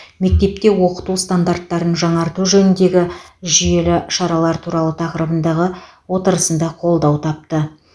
мектепте оқыту стандарттарын жаңарту жөніндегі жүйелі шаралар туралы тақырыбындағы отырысында қолдау тапты